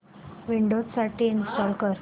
Windows साठी install कर